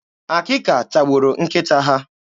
Akịka tagburu nkịta ha.